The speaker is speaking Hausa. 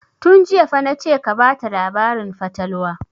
Tun jiya fa na ce ka bata labarin fatalwa!